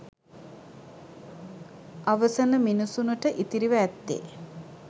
අවසන මිනිසුනට ඉතිරිව ඇත්තේ